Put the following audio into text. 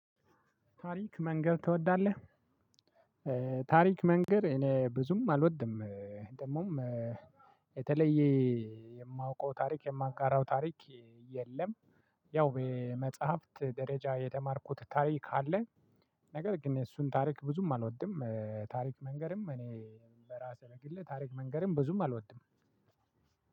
ታሪክ መንገር ትወዳለህ? ታሪክ መንገድ እኔ ብዙም አልወድም። ደግሞም የተለየ የማውቀው ታሪክ የማንጋራው ታሪክ የለም። ያው በመጽሐፍት ደረጃ የተማርኩት ታሪክ አለ። ነገር ግን እሱን ታሪክ ብዙም አልወድም ታሪክ መንገርም እኔ በራሴ በግሌ ታሪክ መንገርም ብዙም አልወድም።